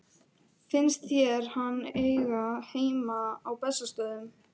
Finnst þér hann eiga heima á Bessastöðum?